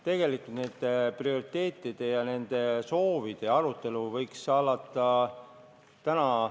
Tegelikult võiks järgmise aasta prioriteetide ja soovide arutelu alata täna.